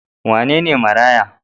Wane ne maraya?